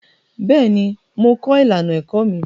Bẹ́ẹ̀ ni, mo kọ ìlànà èkọ́ mi.